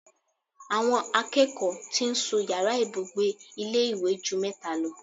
Àwọn akẹ́kọ̀ọ́ tí ń sun yàrá ìbùgbe ilé ìwé ju mẹ́ta lọ